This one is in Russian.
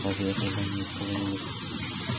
разве я когда-нибудь кого-нибудь